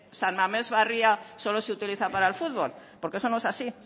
san mamés barria solo se utiliza para el futbol porque eso no es así